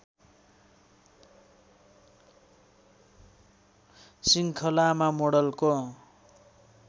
श्रृङ्खलामा मोडलको